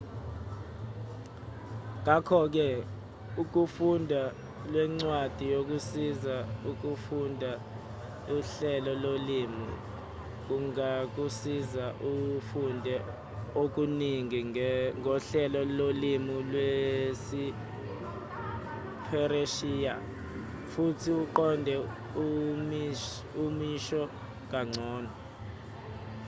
ngakho-ke ukufunda lencwadi yokusiza ukufunda uhlelo lolimi kungakusiza ufunde okuningi ngohlelo lolimi lwesipheresiya futhi uqonde imisho kangcono